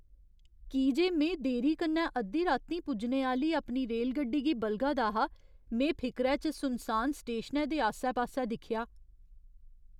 की जे में देरी कन्नै अद्धी रातीं पुज्जने आह्‌ली अपनी रेलगड्डी गी बलगा दा हा, में फिकरै च सुनसान स्टेशनै दे आस्सै पास्सै दिक्खेआ।